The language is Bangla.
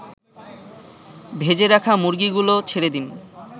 ভেজে রাখা মুরগিগুলো ছেড়েদিন